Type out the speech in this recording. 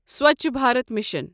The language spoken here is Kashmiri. سۄچھ بھارت مِشن